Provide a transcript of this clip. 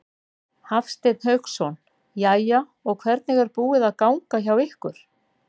Hafsteinn Hauksson: Jæja, og hvernig er búið að ganga hjá ykkur?